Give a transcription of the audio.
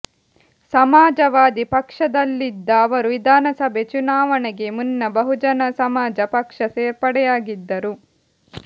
ಸಮಾಜವಾದಿ ಪಕ್ಷದಲ್ಲಿದ್ದ ಅವರು ವಿಧಾನಸಭೆ ಚುನಾವಣೆಗೆ ಮುನ್ನ ಬಹುಜನ ಸಮಾಜ ಪಕ್ಷ ಸೇರ್ಪಡೆಯಾಗಿದ್ದರು